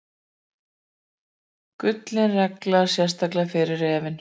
Gullin regla, sérstaklega fyrir refinn.